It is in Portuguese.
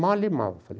''Mole mal'', falei.